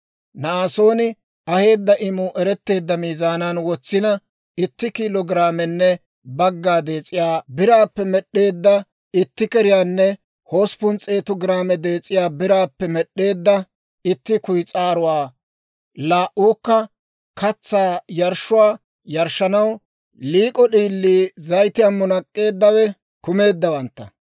Na'asooni aheedda imuu eretteedda miizaanan wotsina, itti kiilo giraamenne bagga dees'iyaa biraappe med'd'eedda itti keriyaanne hosppun s'eetu giraame dees'iyaa biraappe med'd'eedda itti kuyis'aaruwaa, laa"uukka katsaa yarshshuwaa yarshshanaw liik'o d'iilii zayitiyaan munak'k'eeddawe kumeeddawantta;